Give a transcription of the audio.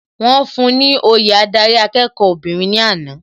Wọ́n fún un ni òye adarí akẹ́kọ̀ọ́ obìnrin ní àná.